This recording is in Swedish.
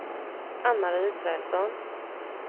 Ann-Marie Israelsson